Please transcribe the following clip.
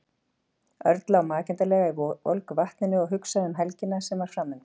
Örn lá makindalega í volgu vatninu og hugsaði um helgina sem var framundan.